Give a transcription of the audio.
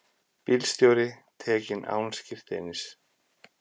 Bílstjóri tekinn án skírteinis